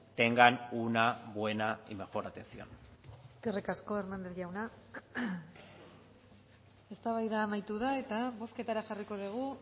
tengan una buena y mejor atención eskerrik asko hernández jauna eztabaida amaitu da eta bozketara jarriko dugu